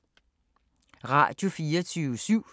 Radio24syv